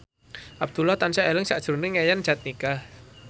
Abdullah tansah eling sakjroning Yayan Jatnika